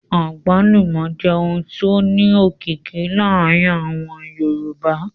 Àgbálùmọ́ jẹ́ ohun tó ní òkìkí láàárín àwọn Yorùbá